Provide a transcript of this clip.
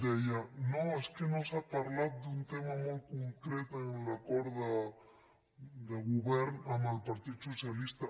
deia no és que no s’ha parlat d’un tema molt concret en l’acord de govern amb el partit socialista